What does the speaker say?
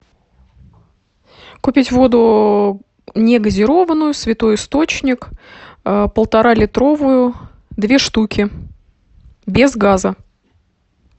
купить воду негазированную святой источник полтора литровую две штуки без газа